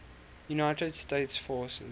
united states forces